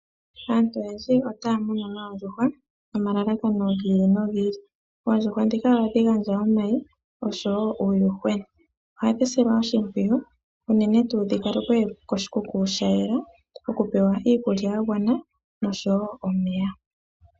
Aantu oyendji otaya munu noondjuhwa nomalalakano gi ili nogi ili. Oondjuhwa ndhika ohadhi gandja omayi oshowo uuyuhwena. Ohadhi silwa oshimpwiyu unene tuu dhi kalekwe koshikuku sha yela okupewa iikulya ya gwana noshowo omeya.